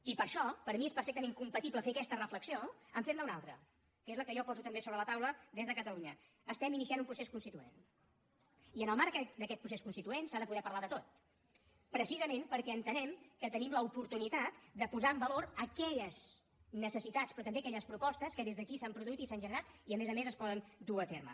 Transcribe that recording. i per això per mi és perfectament compatible fer aquesta reflexió amb fer ne una altra que és la que jo poso també sobre la taula des de catalunya estem iniciant un procés constituent i en el marc d’aquest procés constituent s’ha de poder parlar de tot precisament perquè entenem que tenim l’oportunitat de posar en valor aquelles necessitats però també aquelles propostes que des d’aquí s’han produït i s’han generat i a més a més es poden dur a terme